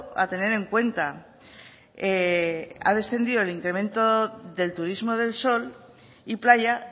a tener en cuenta ha descendido el incremento del turismo del sol y playa